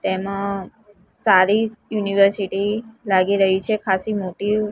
તેમાં સારી યુનિવર્સિટી લાગી રહી છે ખાસી મોટી--